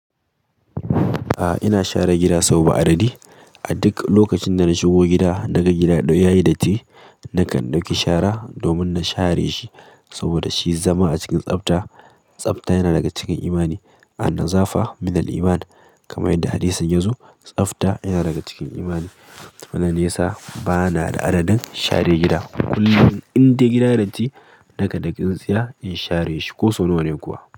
A'a ina share gida soba adadi. A duk lokacin da na shigo gida, naga gida ɗaya yayi datti, nakan ɗauki shara domin na share shi saboda shi zama a cikin tsafta. Tsabta yana daga cikin imani. "An-nazafa minal Iman" kamar yadda hadisin yazo, tsafta yana daga cikin imani. Wannan ne yasa bana da adadin share gida. Kullum indai gida yayi datti, nakan dauki tsintsiya in share shi ko so na wane kuwa.